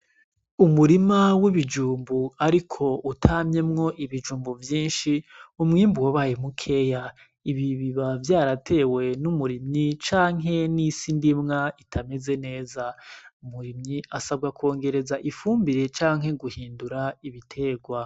Umurima w'ibijumbu ariko utamyemwo ibijumbu vyinshi, umwimbu wabaye mukeya, ibi biba vyaratewe n'umurimyi canke n'isi ndimwa itameze neza. Umurimyi asabwa kongereza ifumbire canke ibitegwa.